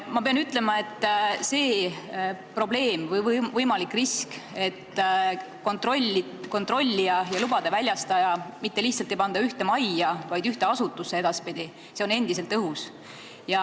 Ma pean ütlema, et probleemi või riski võimalus, kui kontrollija ja lubade väljastaja mitte lihtsalt ei ole edaspidi ühes majas, vaid nad on ühes asutuses, on endiselt õhus.